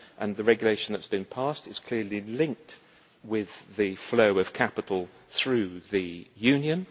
The regulation that has been passed is clearly linked with the flow of capital through the union.